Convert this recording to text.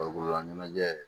Farikololaɲɛnajɛ